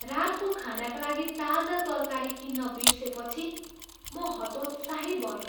रातको खानाका लागि ताजा तरकारी किन्न बिर्सेपछि म हतोत्साहित भएँ।